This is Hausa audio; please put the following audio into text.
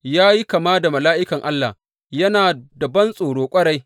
Ya yi kama da mala’ikan Allah, yana da bantsoro ƙwarai.